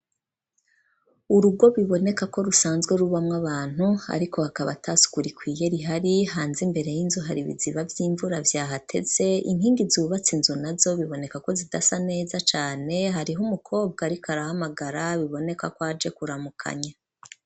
Urugo biboneka ko rusanzwe rubamwo abantu, ariko hakaba ata suku rikwiye rihari ,hanze imbere y'inzu hari ibiziba vy'imvura vyahateze, inkingi zubatse inzu nazo biboneka ko zidasa neza cane, hariho umukobwa ariko arahamagara, biboneka ko aje kuramukanya.